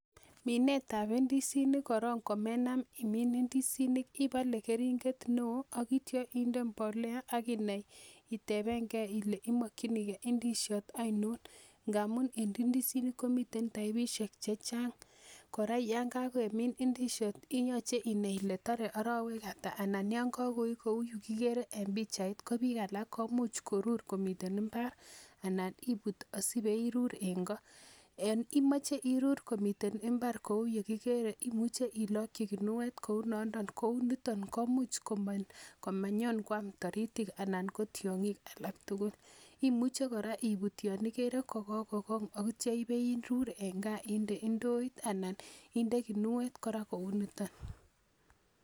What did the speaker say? Minet ab ndisinik korong komenam imin ndisinik ibole keringet neoo ak itya inde mbolea ak inai iteben gee ile imokyinigee ndisiot oinon ngamun en ndisinik komiten taipisiek chechang kora yon kakemin ndisiot koyoche inai ile tore arowek ata ana yon kakoik kou yukikere en pichait ko biik alak komuch korur komiten mbar anan ibut asibeibu irur en ko yon imoche irur komiten mbar kou yukikere imuche ilokyi guniet kou nondon kou niton komuch komanyon koam taritik anan ko tiong'ik alak tugul imuche kora ibut yon ikere kokokong ak itya ibeirur en kaa inde ndoit ana inde guniet kora kou niton